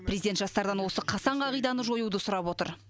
президент жастардан осы қасаң қағиданы жоюды сұрап отыр